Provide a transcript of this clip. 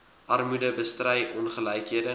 armoede bestry ongelykhede